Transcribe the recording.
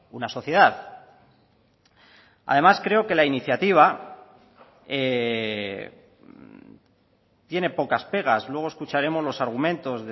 una sociedad además creo que la iniciativa tiene pocas pegas luego escucharemos los argumentos